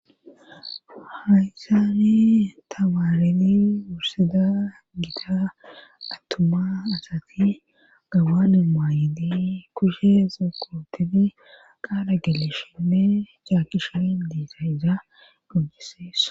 haysani tabaareni wurseda giita attuma asati gabanu maayidi kushe zukotini qaara geleshime caakishain diisa isa gojeseessa